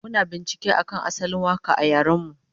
Muna bincike akan asalin waka a yaren mu